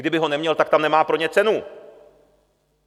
Kdyby ho neměl, tak tam nemá pro ně cenu.